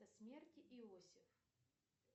смерть иосиф